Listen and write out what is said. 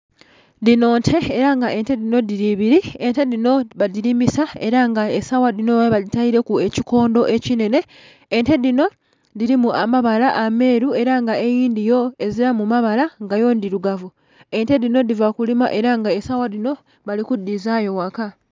Dhinho nte era nga ente dhinho dhili ibili, ente dhinho badhilimisa era nga esawa dhinho babele badhitele ku ekikondho ekinhenhe, ente dhinho dhilimu amabala ameru era nga eindhi yo ezilamu mabala nga yo ndhilugavu. Ente dhinho dhiva kulima nga esawa dhinho bali kudhizayo ghaka.